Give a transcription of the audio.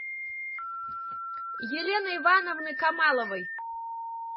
елены ивановны камаловой